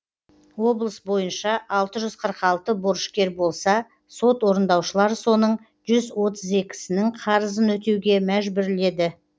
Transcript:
облыс бойынша алты жүз қырық алты борышкер болса сот орындаушылар соның жүз отыз екісінің қарызын өтеуге мәжбүрледі